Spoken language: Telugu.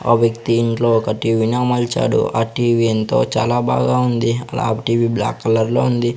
ఆ వ్యక్తి ఇంట్లో ఒక టీవి ని అమల్చాడు ఆ టీవీ ఎంతో చాలా బాగా ఉంది టీవీ బ్లాక్ కలర్ లో ఉంది.